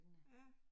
Ja